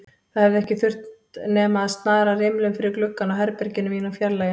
Það hefði ekki þurft nema að snara rimlum fyrir gluggann á herberginu mínu og fjarlægja